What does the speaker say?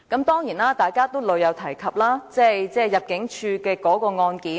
當然，大家均屢次提及有關一名入境事務主任的案件。